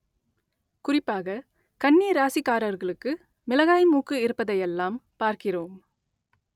குறிப்பாக கன்னி ராசிக்காரர்களுக்கு மிளகாய் மூக்கு இருப்பதையெல்லாம் பார்க்கிறோம்